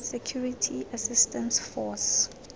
security assistance force